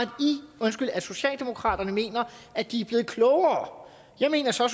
at socialdemokratiet mener at de er blevet klogere jeg mener så